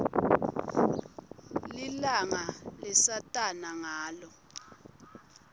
lilanga lesatana ngalo